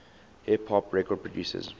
hip hop record producers